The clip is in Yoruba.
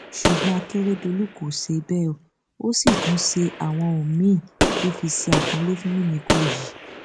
ṣùgbọn akérédọlù kò ṣe bẹẹ ó sì tún ṣe àwọn ohun míín tó fi ṣe àpọnlé fún mímíkọ yìí